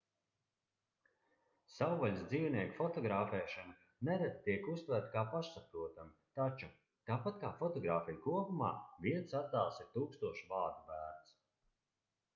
savvaļas dzīvnieku fotografēšana nereti tiek uztverta kā pašsaprotama taču tāpat kā fotogrāfija kopumā viens attēls ir tūkstoš vārdu vērts